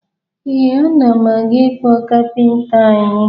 Ee, ana m aga ịkpọ kaptịn anyị